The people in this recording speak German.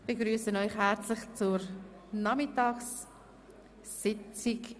Ich begrüsse Sie herzlich zur Nachmittagssitzung.